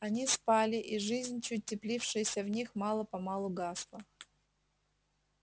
они спали и жизнь чуть теплившаяся в них мало помалу гасла